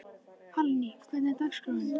Hallný, hvernig er dagskráin?